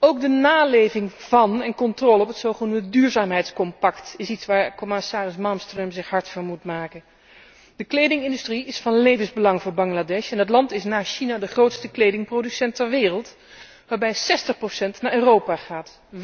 Ook de naleving van een controle op het zogenaamde duurzaamheidscompact is iets waar commissaris Malmström zich hard voor moet maken. De kledingindustrie is van levensbelang voor Bangladesh en het land is na China de grootste kledingproducent ter wereld, waarbij zestig procent naar Europa gaat.